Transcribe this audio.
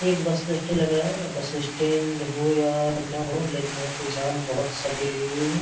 ये एक bus stand लग रहा है और बस स्टैंड हो या न हो लेकिन यहाँ जाम बहुत सारे लगे हुए हैं।